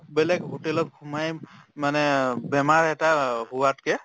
বেলেগ hotel ত সোমাই মানে অ বেমাৰ এটা অ হোৱাতকে